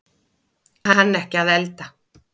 Kann ekki að elda